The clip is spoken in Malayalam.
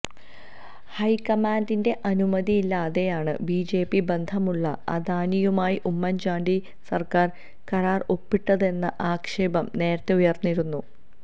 ഹൈക്കമാന്ഡിന്റെ അനുമതിയില്ലാതെയാണ് ബിജെപി ബന്ധമുള്ള അദാനിയുമായി ഉമ്മന്ചാണ്ടി സര്ക്കാര് കരാര് ഒപ്പിട്ടതെന്ന ആക്ഷേപം നേരത്തെ ഉയര്ന്നിരുന്നു